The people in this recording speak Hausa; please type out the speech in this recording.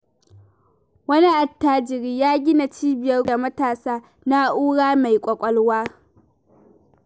Wani attajiri ya gina cibiyar koyar da matasa na'ura mai ƙwaƙwalwa.